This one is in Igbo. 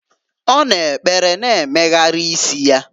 Ọ na-ekpere na-emegharị isi ya.